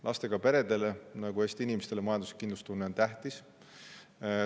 Lastega peredele nagu Eesti inimestele on majanduslik kindlustunne tähtis.